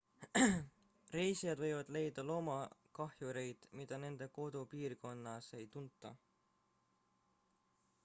reisijad võivad leida loomakahjureid mida nende kodupiirkonnas ei tunta